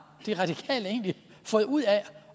de radikale egentlig fået ud af